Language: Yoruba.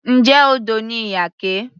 Njẹ́ odò ni Iyake.